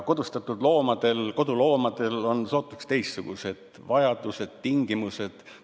Kodustatud loomadel, koduloomadel on sootuks teistsugused vajadused, tingimused.